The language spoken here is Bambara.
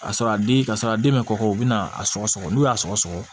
A sɔrɔ a den ka sɔrɔ a den bɛ kɔkɔ u bɛna a sɔgɔ n'u y'a sɔgɔ